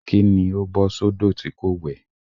Kí ni ó bọ́ sódò tí kò wẹ̀?